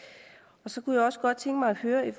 så kunne jeg også godt tænke mig at høre